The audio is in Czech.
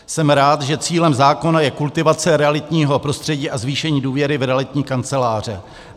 Jsem rád, že cílem zákona je kultivace realitních prostředí a zvýšení důvěry v realitní kanceláře.